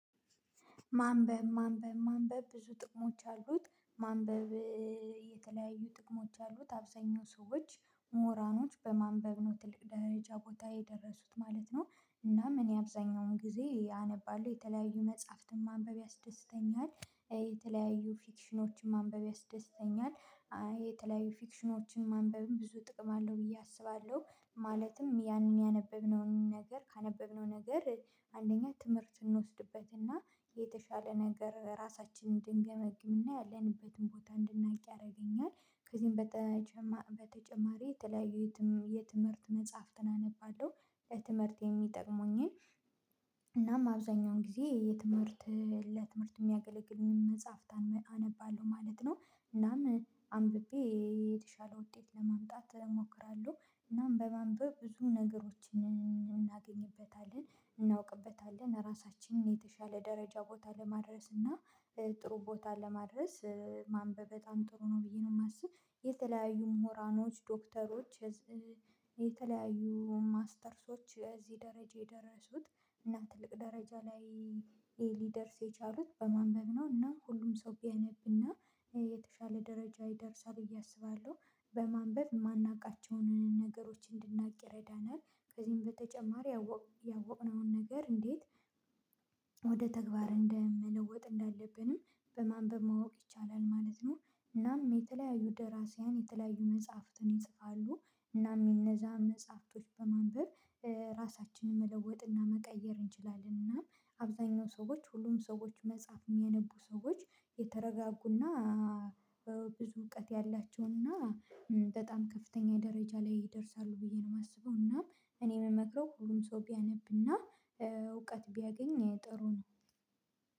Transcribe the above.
ማንበብ ማንበብ ማንበብ ብዙ ጥቅሞች አሉት ማንበብ የተለያዩ ጥቅሞች አሉት አብዛኛው ሰዎች ምሁራኖች በማንበብ ነው ትልቅ ደረጃ ቦታ የደረሱት ማለት ነው። እናም እኔ አብዛኛውን ጊዜ አነባለሁ የተለያዩ መጽሐፍትን ማንበብ ያስደስተኛል የተለያዩ ፊክሽኖችን ማንበብ ያስደስተኛል። የተለያዩ ፊክሽኖችን ማንበብም ብዙ ጥቅም አለው ብዬ አስባለሁ ማለትም ያንን ያነበብነውን ነገር ካነበብነው ነገር አንደኛ ትምህርት እንወስድበትና የተሻለ ነገር ራሳችንን እንድንገመግምና ያለንበትን ቦታ እንድናውቅ ያደርገኛል። ከዚህም በተጨማሪ የተለያዩ የትምህርት መጽሐፍትን አነባለሁ ለትምህርት የሚጠቅሙኝን እናም አብዛኛውን ጊዜ የትምህርት ለትምህርት የሚያገለግልኝን መጽሐፍት አነባለሁ ማለት ነው። እናም አንብቤ የተሻለ ውጤት ለማምጣት እሞክራለሁ እናም በማንበብ ብዙ ነገሮችን እናገኝበታለን እናውቅበታለን ራሳችንን የተሻለ ደረጃ ቦታ ለማድረስ እና ጥሩ ቦታ ለማድረስ ማንበብ በጣም ጥሩ ነው ብዬ ነው የማስብ። የተለያዩ ምሁራኖች ዶክተሮች የተለያዩ ማስተርሶች እዚህ ደረጃ የደረሱት እና ትልቅ ደረጃ ላይ ሊደርስ የቻሉት በማንበብ ነው እና ሁሉም ሰው ቢያነብና የተሻለ ደረጃ ይደርሳል ብዬ አስባለሁ። በማንበብ የማናውቃቸውን ነገሮች እንድናውቅ ይረዳናል ከዚህም በተጨማሪ ያወቅነውን ነገር እንዴት ወደ ተግባር እንደምለወጥ እንዳለብንም በማንበብ ማወቅ ይቻላል ማለት ነው። እናም የተለያዩ ደራሲያን የተለያዩ መጽሐፍትን ይጽፋሉ እናም የእነዛ መጽሐፍቶች በማንበብ ራሳችንን መለወጥ እና መቀየር እንችላለን እና አብዛኛው ሰዎች ሁሉም ሰዎች መጽሐፍ የሚያነቡ ሰዎች የተረጋጉና ብዙ እውቀት ያላቸውና በጣም ከፍተኛ ደረጃ ላይ ይደርሳሉ ብዬ ነው የማስበው። እና እኔ የምመክረው ሁሉም ሰው ቢያነብና እውቀት ቢያገኝ ጥሩ ነው።